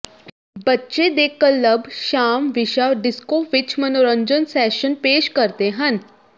ਬੱਚੇ ਦੇ ਕਲੱਬ ਸ਼ਾਮ ਵਿਸ਼ਾ ਡਿਸਕੋ ਵਿੱਚ ਮਨੋਰੰਜਨ ਸੈਸ਼ਨ ਪੇਸ਼ ਕਰਦੇ ਹਨ